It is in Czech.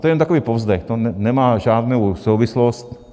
To je jen takový povzdech, to nemá žádnou souvislost.